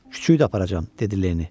Kiçiyi də aparacam, dedi Leni.